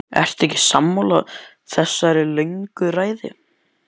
Ertu ekki sammála þessari löngu ræðu?